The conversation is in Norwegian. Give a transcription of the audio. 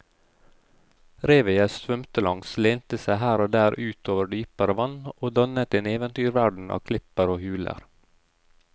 Revet jeg svømte langs lente seg her og der ut over dypere vann og dannet en eventyrverden av klipper og huler.